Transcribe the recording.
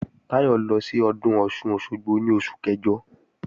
Táyọ̀ lọ sí Ọdún Ọ̀sun-Òsogbo ní oṣù kẹjọ